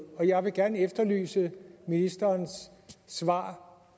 jeg vil gerne efterlyse ministerens svar